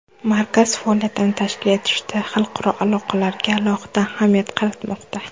Markaz faoliyatini tashkil etishda xalqaro aloqalarga alohida ahamiyat qaratilmoqda.